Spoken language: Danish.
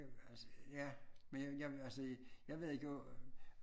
Altså ja men jeg jeg altså jeg ved ikke jo